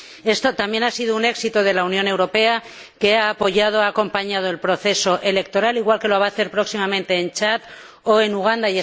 Esto también ha sido un éxito de la Unión Europea, que ha apoyado y ha acompañado el proceso electoral, igual que lo va a hacer próximamente en Chad o en Uganda.